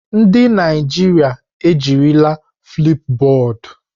Ndị Naijiria ejirila Flipubọọdu.